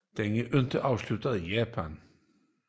Den er ikke afsluttet i Japan